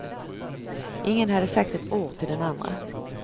Ingen hade sagt ett ord till den andre.